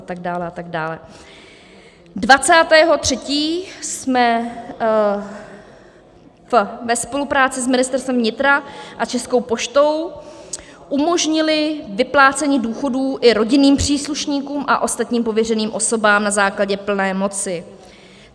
20. 3. jsme ve spolupráci s Ministerstvem vnitra a Českou poštou umožnili vyplácení důchodů i rodinným příslušníkům a ostatním pověřeným osobám na základě plné moci.